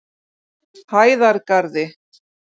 Hæðargarði